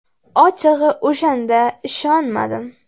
Ochig‘i, o‘shanda ishonmadim.